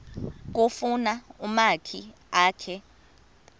kufuna umakhi akhe